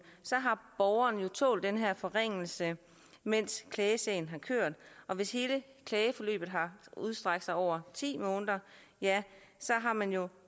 har borgeren jo tålt den her forringelse mens klagesagen har kørt og hvis hele klageforløbet har strakt sig over ti måneder har man jo